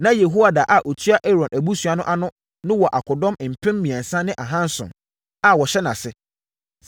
Na Yehoiada a ɔtua Aaron abusua no ano no wɔ akodɔm mpem mmiɛnsa ne ahanson (3,700) a wɔhyɛ nʼase.